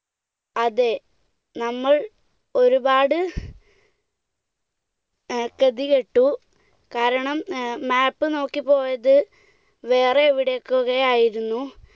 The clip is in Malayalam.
അതേ. നമ്മൾ ഒരുപാട് ഗതികെട്ടു. കാരണം map നോക്കി പോയത് വേറെ എവിടെക്കൂടെയോ ആയിരുന്നു.